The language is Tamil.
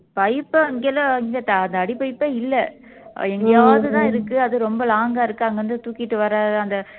pipe அங்கெல்லாம் அந்த அடி pipe ஏ இல்லை அது எங்கயாதுதான் அது ரொம்ப long ஆ இருக்கு அங்க இருந்து தூக்கிட்டு வர அந்த